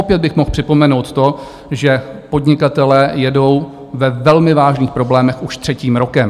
Opět bych mohl připomenout to, že podnikatelé jedou ve velmi vážných problémech už třetím rokem.